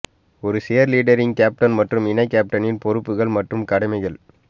ஒரு cheerleading captain மற்றும் இணை கேப்டனின் பொறுப்புகள் மற்றும் கடமைகள்